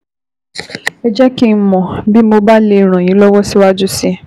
Ẹ jẹ́ kí n mọ̀ bí mo bá lè ràn yín lọ́wọ́ síwájú sí i